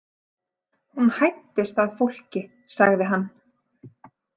Hún hæddist að fólki, sagði hann.